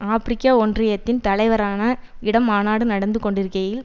ஆபிரிக்க ஒன்றியத்தின் தலைவரான இடம் மாநாடு நடந்து கொண்டிருக்கையில்